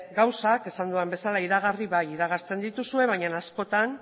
gauzak esan dudan bezala iragarri bai iragartzen dituzue bainan askotan